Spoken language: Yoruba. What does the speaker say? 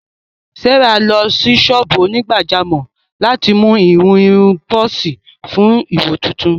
Sárà lọ sí ṣọ́ọ́bù onígbàjámọ̀ láti mú ìhun irun bọ́ọ́sì fún ìwò tuntun